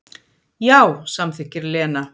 Já, samþykkir Lena.